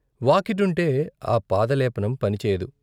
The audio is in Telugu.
వాకిటుంటే ఆ పాదలేపనం పనిచేయదు.